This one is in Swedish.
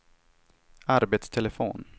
arbetstelefon